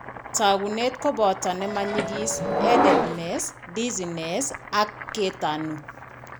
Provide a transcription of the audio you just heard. Taakunet koboto ne ma nyigis headedness, dizziness, ak ketanu.